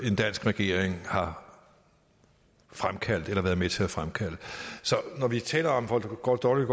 en dansk regering har fremkaldt eller været med til at fremkalde så når vi taler om hvor dårligt